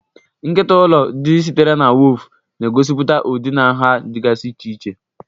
Nkịta ụlọ, ndị sitere na woofu, na-egosipụta ụdị na nha dịgasị iche iche.